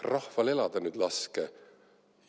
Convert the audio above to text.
Rahval elada nüüd laske!